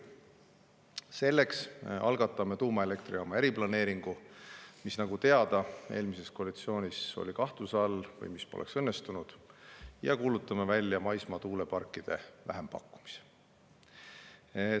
Selleks algatame tuumaelektrijaama eriplaneeringu, mis, nagu teada, eelmises koalitsioonis oli kahtluse all või mis poleks õnnestunud, ja kuulutame välja maismaa tuuleparkide vähempakkumise.